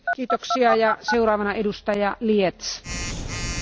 Sehr geehrte Frau Präsidentin, sehr geehrte Hohe Beauftragte!